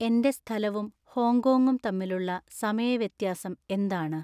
എന്‍റെ സ്ഥലവും ഹോങ്കോങ്ങും തമ്മിലുള്ള സമയ വ്യത്യാസം എന്താണ്